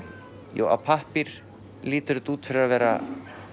jú á pappír lítur þetta út fyrir að vera